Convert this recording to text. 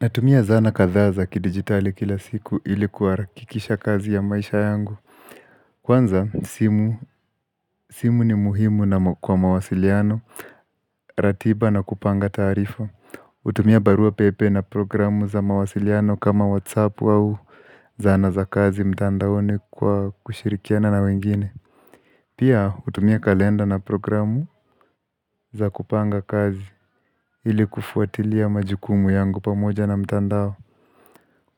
Natumia sana kadhaa za kidigitali kila siku ili kuharakisha kazi ya maisha yangu Kwanza simu, simu ni muhimu na kwa mawasiliano ratiba na kupanga taarifa, kutumia barua pepe na programu za mawasiliano kama whatsapp au zana za kazi mtandaoni kwa kushirikiana na wengine Pia kutumia kalenda na programu za kupanga kazi ili kufuatilia majukumu yangu pamoja na mtandao